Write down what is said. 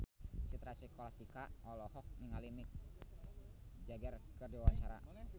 Citra Scholastika olohok ningali Mick Jagger keur diwawancara